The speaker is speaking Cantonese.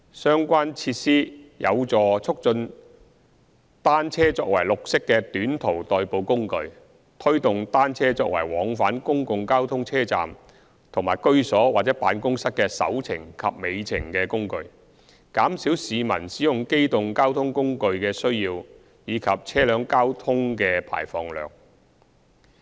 相關設施有助促進單車作為綠色的短途代步工具，推動單車作為往返公共交通車站和居所或辦公室的"首程"及"尾程"的工具，減少市民使用機動交通工具的需要及車輛交通的排放量。